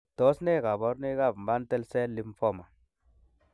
Tos nee koborunoikab Mantle cell lymphoma?